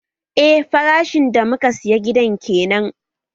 Eh farashin da muka saya gidan kenan